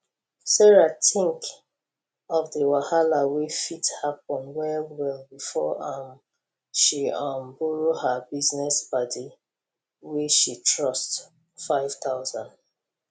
sarah think of the wahala wey fit happen well well before um she um borrow her business padi wey she trust 5000